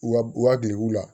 Wa u ka geguw la